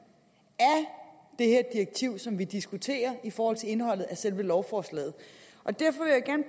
af det her direktiv som vi diskuterer i forhold til indholdet af selve lovforslaget og derfor